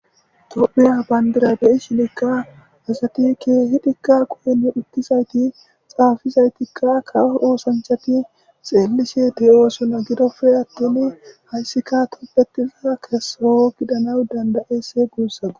Tophiya bandirabeyi shinikka asati keehidikka koyni uttizayti xaafizaytikka kawo oosanchati xeelise ti7osona gidofe attin hayssika tuppetiza kessowo gidana dandayese guussagu